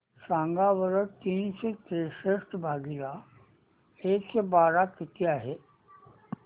सांगा बरं तीनशे त्रेसष्ट भागीला एकशे बारा किती आहे